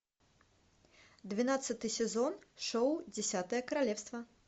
двенадцатый сезон шоу десятое королевство